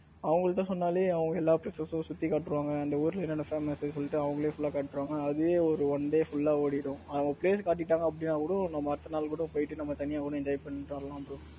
அவங்க கிட்ட சொன்னாலே அவங்க எல்லா places சுத்தி காட்டுறாங்க அந்த ஊர்ல என்னென்ன famous சொல்லிட்டு அவங்களே full லா காட்றாங்க அதுவே ஒரு one day full ல ஓடிரும் அவங்க place காட்டிட்டாங்க அப்படின்னா கூட நம்ம அடுத்த நாள் கூட போயிட்டு நம்ம தனியா கூட enjoy பண்ணிட்டு வரலாம் bro.